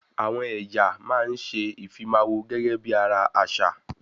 Àwọn ẹ̀yà máa ń ṣe ìfimáwọ̀ gẹ́gẹ́ bí ara àṣà